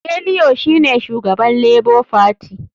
Bellio shine shugaban lebo fati.